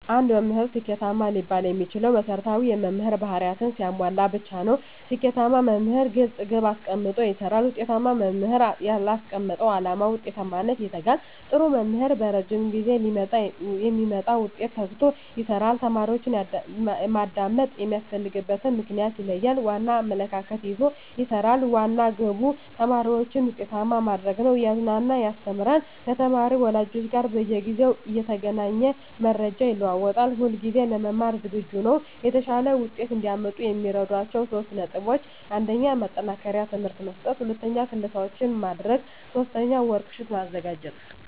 አንድ መምህር ስኬታማ ሊባል የሚችለው መሰረታዊ የመምህር በህሪያትን ሲያሟላ ብቻ ነው። ስኬታማ መምህር ግለፅ ግብ አሰቀምጦ ይሰራል፣ ውጤታማ መምህር ላስቀመጠው ዓላማ ውጤታማነት ይተጋል፣ ጥሩ መምህር በረጂም ጊዜ ለሚመጣ ውጤት ተግቶ ይሰራል፣ ተማሪዎችን ማዳመጥ የሚያስፈልግበትን ምክንያት ይለያል፣ ቀና አመለካከት ይዞ ይሰራል፤ ዋና ግቡ ተማሪዎችን ውጤታማ ማድረግ ነው፤ እያዝናና ያስተምራል፤ ከተማሪ ወላጆች ጋር በየጊዜው እየተገናኘ መረጃ ይለዋወጣል፣ ሁለጊዜ ለመማር ዝግጁ ነው። የተሻለ ውጤት እዲያመጡ የሚረዷቸው 3 ነጥቦች 1. ማጠናከሪያ ትምህርት መስጠት 2. ክለሣዎችን ማድረግ 3. ወርክ ሽት ማዘጋጀት